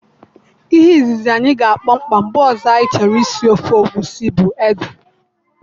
Ihe izizi anyị ga akpọ mkpa mgbe ọzọ anyị chọrọ isi ofe egusi bu ede